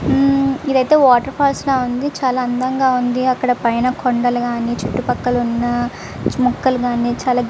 ఇమ్ ఇదైతే water falls లా ఉంది. చాల అందంగా ఉంది. అక్కడ పైన కొండల్లు కానీ చుట్టుపక్కల ఉన్న మొక్కలు గాని చాలా గ--